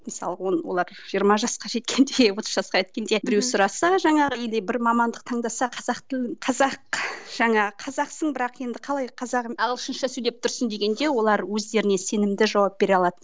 мысалға он олар жиырма жасқа жеткенде отыз жасқа жеткенде біреу сұраса жаңағы или бір мамандық таңдаса қазақ тілін қазақ жаңа қазақсың бірақ енді қалай қазақ ағылшынша сөйлеп тұрсың дегенде олар өздеріне сенімді жауап бере алады